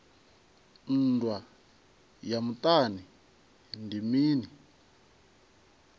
nndwa ya muṱani ndi mini